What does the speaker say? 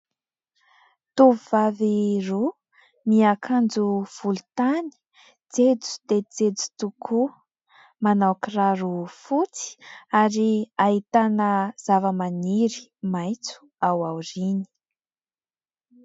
Tovovavy roa niakanjo volontany jejo dia jejo tokoa, manao kiraro fotsy ary ahitana zavamaniry maitso ao aoriany.